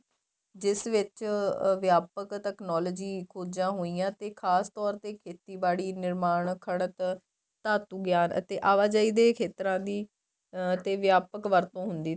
ਜਿਸ ਵਿੱਚ ਵਿਆਪਕ technology ਖੋਜਾਂ ਹੋਈਆਂ ਤੇ ਖ਼ਾਸਤੋਰ ਖੇਤੀਬਾੜੀ ਨਿਰਮਾਣ ਖੱੜਤ ਧਾਤੂ ਗਿਆਨ ਅਤੇ ਆਵਾਜਾਈ ਦੇ ਖੇਤਰਾਂ ਦੀ ਤੇ ਵਿਆਪਕ ਵਰਤੋਂ ਹੁੰਦੀ ਤੇ